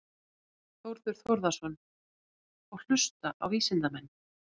Þórður Þórðarson: Og hlusta á vísindamenn?